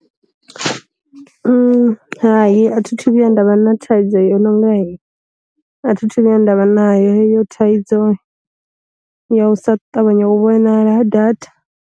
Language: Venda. Hai a thi thu vhuya nda vha na thaidzo yo no nga heyo, a thi thu vhuya nda vha nayo heyo thaidzo ya u sa ṱavhanya u vhonala ha datha.